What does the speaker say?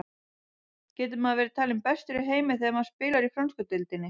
Getur maður verið talinn bestur í heimi þegar maður spilar í frönsku deildinni?